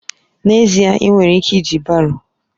N'ezie èè! ị nwere ike iji baro.